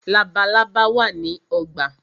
Labalábá wá ní ogbà.